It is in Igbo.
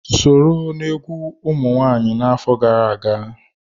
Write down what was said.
Sọrọ na-egwu ụmụ nwaanyị afọ gara aga.